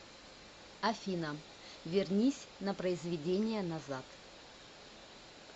афина вернись на произведение назад